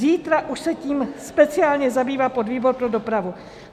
Zítra už se tím speciálně zabývá podvýbor pro dopravu.